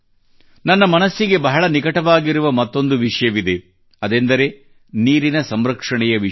ನನ್ನ ಮನಸ್ಸಿಗೆ ಬಹಳ ನಿಕಟವಾಗಿರುವ ಮತ್ತೊಂದು ವಿಷಯವಿದೆ ಅದೆಂದರೆ ನೀರಿನ ಸಂರಕ್ಷಣೆಯ ವಿಷಯ